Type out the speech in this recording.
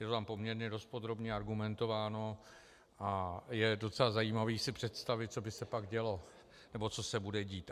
Je to tam poměrně dost podrobně argumentováno a je docela zajímavé si představit, co by se pak dělo, nebo co se bude tít.